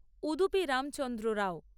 Udupi Ramachandra Rao